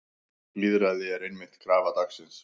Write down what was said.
Lýðræði er einmitt krafa dagsins.